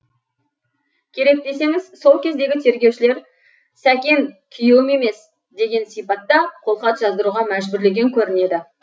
керек десеңіз сол кездегі тергеушілер сәкен күйеуім емес деген сипатта қолхат жаздыруға мәжбүрлеген көрінеді